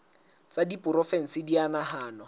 tsa diporofensi di a nahanwa